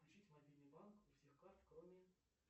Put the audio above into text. включить мобильный банк у всех карт кроме